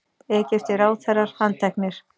Egypskir ráðherrar handteknir